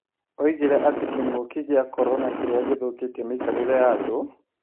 Oigire atĩ kĩng'ũki gĩa korona kĩrĩa gĩthũkĩtie mĩikarĩre ya andũ,